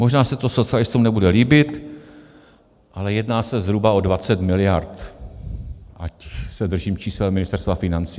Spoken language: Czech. Možná se to socialistům nebude líbit, ale jedná se zhruba o 20 miliard, ať se držím čísel Ministerstva financí.